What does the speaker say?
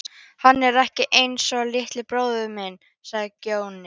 Hann er ekki einsog litli bróðir minn, sagði Grjóni.